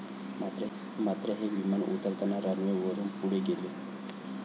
मात्र, हे विमान उतरताना रनवेवरून पुढे गेले.